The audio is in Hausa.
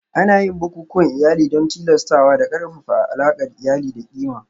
Ana yin bukukuwan iyali don tilastawa da ƙarfafa alaƙar iyali da ƙima